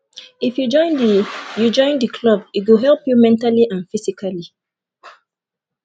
if you join the you join the club e go help you mentally and physically